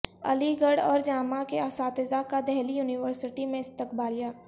علی گڑھ اورجامعہ کے اساتذہ کا دہلی یونیورسٹی میں استقبالیہ